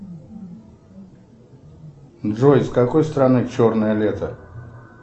джой с какой стороны черное лето